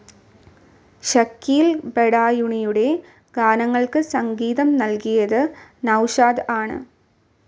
ഷക്കീൽ ബഡായുണിയുടെ ഗാനങ്ങൾക്ക് സംഗീതം നൽകിയത് നൗഷാദ് ആണ്.